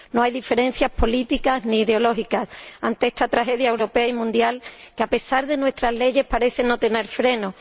No hay diferencias políticas ni ideológicas ante esta tragedia europea y mundial que, a pesar de nuestras leyes, parece no tener freno.